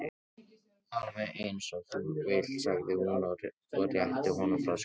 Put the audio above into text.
Alveg eins og þú vilt sagði hún og rétti honum flöskuna.